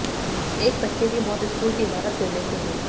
एक बच्चे की मौत स्कूल की इमारत गिरने से हुई